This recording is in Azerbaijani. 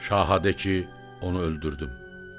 Şaha de ki, onu öldürdüm.